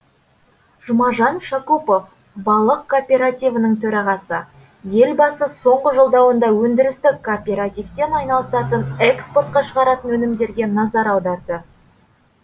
жұмажан шакупов балық кооперативінің төрағасы елбасы соңғы жолдауында өндірістік кооперативтен айналысатын экспортқа шығаратын өнімдерге назар аударды